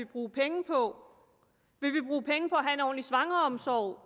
bruge penge på at have en ordentlig svangreomsorg og